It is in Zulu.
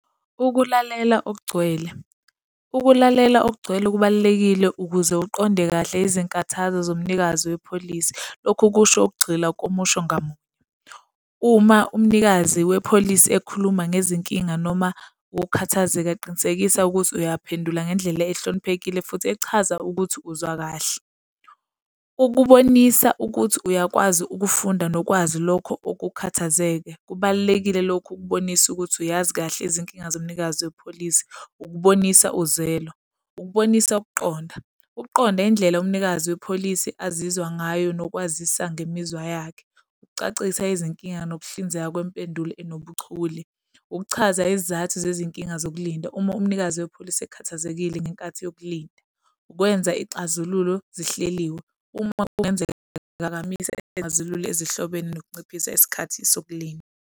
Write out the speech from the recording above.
Ukulalela okugcwele. Ukulalela okugcwele kubalulekile ukuze uqonde kahle izinkathazo zomnikazi wepholisi, lokhu kusho ukugxila komusho ngamunye. Uma umnikazi wepholisi ekhuluma ngezinkinga noma ukukhathazeka, qinisekisa ukuthi uyaphendula ngendlela ehloniphekile futhi echaza ukuthi uzwa kahle. Ukubonisa ukuthi uyakwazi ukufunda nokwazi lokho ukukhathazeke, kubalulekile lokhu ukubonisa ukuthi uyazi kahle izinkinga zomnikazi wepholisi ukubonisa uzwelo. Ukubonisa ukuqonda. Ukuqonda indlela umnikazi wepholisi azizwa ngayo nokwazisa ngemizwa yakhe. Ukucacisa izinkinga nokuhlinzeka kwempendulo enobuchule. Ukuchaza izizathu zezinkinga zokulinda, uma umnikazi wepholisi ekhathazekile ngenkathi yokulinda. Ukwenza ixazululo zihleliwe, uma kungenzeka kuphazamise izixazululo ezihlobene nokucacisa isikhathi sokulinda.